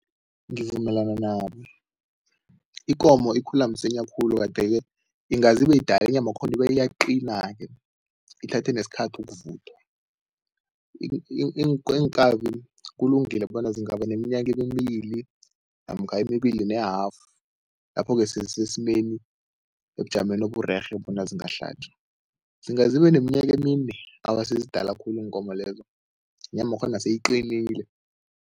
Ngivumelana nabo. Ikomo ikhula msinya khulu kade-ke ingazi ibeyidala inyamakhona iyaqina-ke, ithathe nesikhathi ukuvuthwa. Iinkabi kulungile bona zingaba neminyaka emibli namkha emibili ne-half, lapho-ke sezisesimeni ebujameni oburerhe bona zingahlatjwa. Zinga zibe neminyaka emine, awa, sezidala khulu iinkomo lezo, inyamakhona seyiqinile.